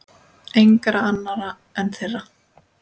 Engra annarra en þeirra.